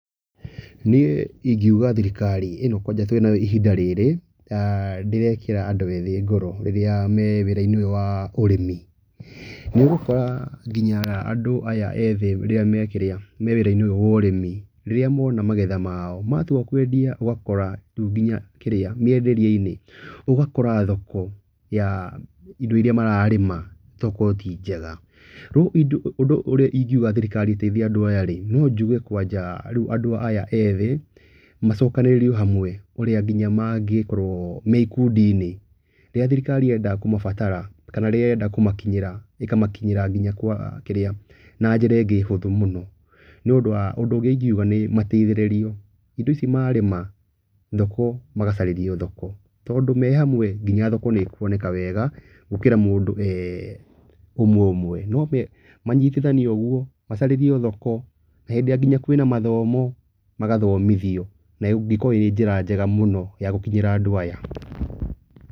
Niĩ ingiuga thirikari ĩno kwanja twĩnayo ihinda rĩrĩ ndĩrekĩra andũ ethĩ ngoro rĩrĩa me wĩra-inĩ ũyũ wa ũrĩmi. Nĩ ũgũkora nginya andũ aya ethĩ rĩrĩa me kĩrĩa, me wĩra-inĩ ũyũ wa ũrĩmi, rĩrĩa mona magetha mao matua kwendia ũgakora rĩu nginya kĩrĩa mĩenderie-inĩ, ũgakora thoko ya indo irĩa mararĩma togũkorwo tĩ njega. Rĩu ũndũ ũrĩa ingiuga thirikari ĩteithia andũ aya rĩ, no njuge kwanja rĩu andũ aya ethĩ macokanĩrĩrio hamwe ũrĩa nginya mangĩkorwo me ikundi-inĩ. Rĩrĩa thirikari yenda kũmabatara kana rĩrĩa ĩrenda kũmakinyĩra ĩkamakinyĩra nginya kwa kĩrĩa, na njĩra ĩngĩ hũthũ mũno. Nĩ ũndũ wa ũndũ ũngĩ ingiuga nĩ matigithĩrĩrio indo ici marĩma thoko magacarĩrio thoko. Tondũ me hamwe nginya thoko nĩ ĩkuoneka wega gũkĩra mũndũ e ũmwe ũmwe. Manyitithanio ũguo, macarĩrio thoko, hĩndĩ ĩrĩa nginya kwĩna mathomo magathomithio. Nayo ĩngĩkorwo ĩrĩ njĩra njega ya gũkinyĩra andũ aya.